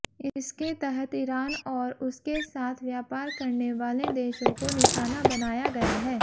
इसके तहत ईरान और उसके साथ व्यापार करने वाले देशों को निशाना बनाया गया है